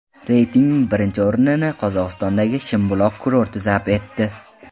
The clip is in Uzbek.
Reytingning birinchi o‘rnini Qozog‘istondagi Shimbuloq kurorti zabt etdi.